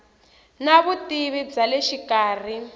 na vutivi bya le xikarhi